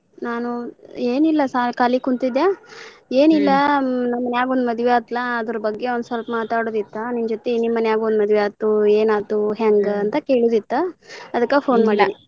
ನಾನು ಏನಿಲ್ಲಾ ಕಾಲಿ ಕುಂತಿದ್ದೆ ಏನಿಲ್ಲ ನಮ್ ಮನ್ಯಾಗ್ ಒಂದ್ ಮದ್ವಿ ಆಯ್ತಲ್ಲಾ ಅದರ ಬಗ್ಗೆ ಒಂದ್ ಸ್ವಲ್ಪ ಮಾತಾಡೋದ ಇತ್ತ ನಿನ್ನ ಜೊತಿ ನಿಮ್ ಮನ್ಯಾಗು ಒಂದ್ ಮದ್ವಿ ಆಯ್ತು ಏನಾಯ್ತು ಹೆಂಗ್ ಅಂತ ಕೇಳೋದಿತ್ ಅದಕ phone ಮಾಡಿನ.